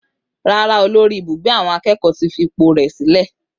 Rárá, olórí Ibugbe awon akeeko ti fi ipò rẹ̀ sílẹ̀.